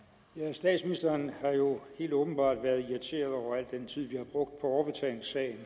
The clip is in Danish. statsministeren har jo helt åbenbart været irriteret over al den tid vi har brugt på overbetalingssagen